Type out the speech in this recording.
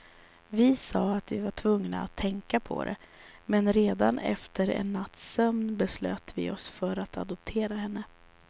Vi sa att vi var tvungna att tänka på det, men redan efter en natts sömn beslöt vi oss för att adoptera henne.